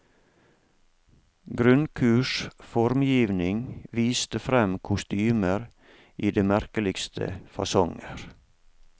Grunnkurs formgivning viste fram kostymer i det merkeligste fasonger.